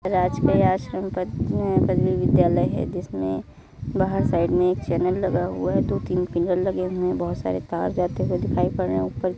आश्रम विद्यालय है जिसमें बाहर साइड में एक चैनल लगा हुआ है | दो तीन पिलर लगे हुए हैं | बहुत सारे जाते हुए दिखाई पड़ रहें ऊपर --